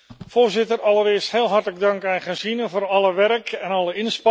Allereerst heel hartelijk dank aan Gesine voor alle werk en alle inspanningen.